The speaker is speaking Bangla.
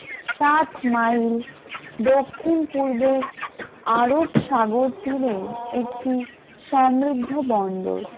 সাতমাইল দক্ষিণ পূর্বে আরব সাগর তীরে একটি সমৃদ্ধ বন্দর ।